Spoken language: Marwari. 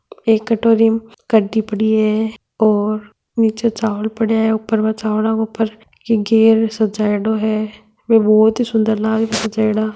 एक कटोरी में कड़ी पड़ी है और नीच चावल पड़ा है ऊपर चावल के ऊपर की गैर सजायडा है बे बहुत ही सुंदर लाग रा है सजायेडा।